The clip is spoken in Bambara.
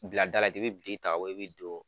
Bila dala de, i bi biriki ta ka bon ye de, i bi don